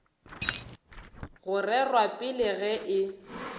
go rerwa pele ge e